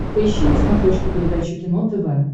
поищи на смотрешке передачу кино тв